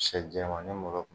She jɛmani molo.